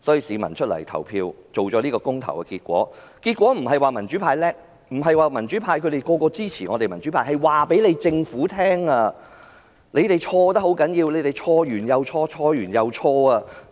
市民投票得出這個公投結果，不是因為民主派厲害，不是他們均支持民主派，而是想告訴政府它錯得很嚴重，一再犯錯，錯了又錯。